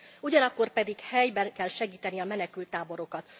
Ugyanakkor pedig helyben kell segíteni a menekülttáborokat.